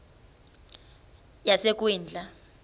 yasekwindla